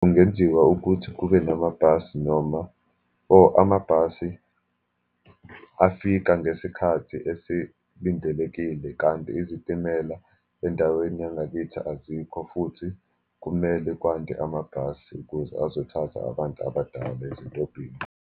Kungenziwa ukuthi kube namabhasi, noma, or amabhasi afika ngesikhathi esilindelekile, kanti izitimela endaweni yangakithi azikho, futhi kumele kwande amabhasi kuze azothatha abantu abadala ezitobhini.